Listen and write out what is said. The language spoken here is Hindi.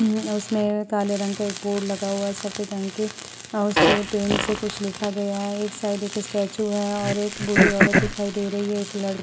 हम्म अ उसमें काले रंग के बोर्ड लगा हुआ है। सफ़ेद रंग के उससे पेंट से कुछ लिखा गया है। एक साइड एक स्टेचू है और एक बूढ़ी औरत दिखाई दे रही है। एक लड़ --